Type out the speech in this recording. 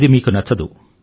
ఇది మీకు నచ్చదు